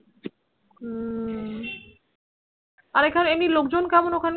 হম আর এখানে এমনি লোকজন কেমন ওইখানকার